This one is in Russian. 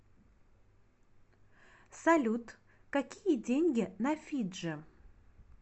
салют какие деньги на фиджи